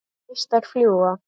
Neistar fljúga.